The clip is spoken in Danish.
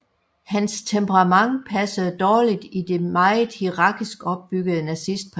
Hans temperament passede dårligt i det meget hierarkisk opbyggede nazistparti